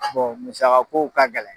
musakakow ka gɛlɛn.